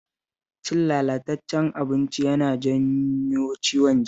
Cin lalatacced abinci yana janyo ciwon ciki